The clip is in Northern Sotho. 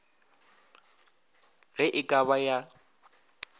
ge e ka ba ya